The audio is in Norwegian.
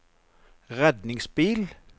redningsbil